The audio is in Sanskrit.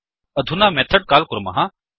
अधुना मेथड् काल् कुर्मः